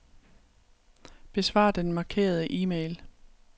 Besvar den markerede e-mail.